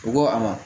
U ko a ma